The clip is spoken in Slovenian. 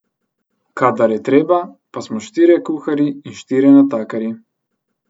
Kadar je treba, pa smo štirje kuharji in štirje natakarji.